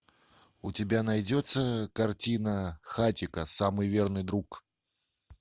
у тебя найдется картина хатико самый верный друг